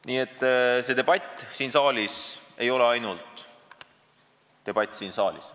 Nii et see debatt siin saalis ei ole ainult debatt siin saalis.